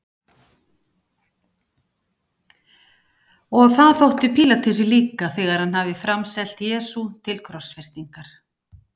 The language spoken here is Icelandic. Og það þótti Pílatusi líka þegar hann hafði framselt Jesú til krossfestingar.